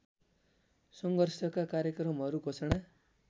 सङ्घर्षका कार्यक्रमहरू घोषणा